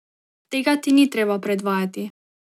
Tega ti ni treba predvajati.